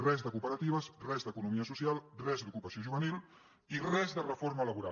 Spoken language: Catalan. res de cooperatives res d’economia social res d’ocupació juvenil i res de reforma laboral